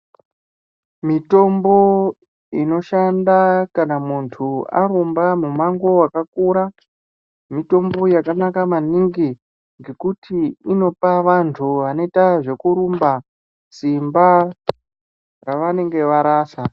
Mitombo inoshanda kana muntu arumba mumango wakakura mitombo yakanaka maningi ngekuti inopa vantu vanoita zvekurumba simba ravanenge varasa.